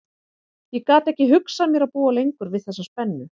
Ég gat ekki hugsað mér að búa lengur við þessa spennu.